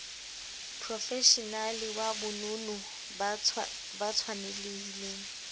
profeshenale wa bonono ba tshwanelhileng